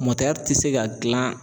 tɛ se ka gilan